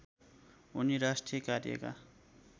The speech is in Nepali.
उनी राष्ट्रिय कार्यका